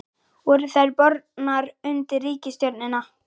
Voru þær bornar undir ríkisstjórnina?